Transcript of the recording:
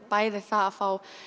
bæði það að fá